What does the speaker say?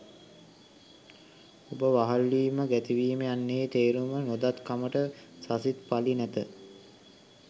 උඹ වහල් වීම ගැති වීම යන්නෙහි තේරුම නොදත් කමට සසිත් පලි නැත